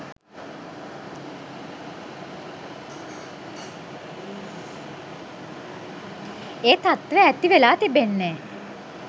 ඒ තත්ත්වය ඇතිවෙලා තිබෙන්නේ.